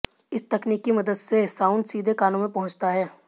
इस तकनीक की मदद से साउंड सीधे कानो में पहुंचता है